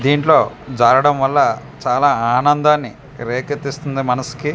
దీంట్లో జారాడం వల్ల చాలా ఆనందానన్ని రికేతిస్తుంది మనసుకి.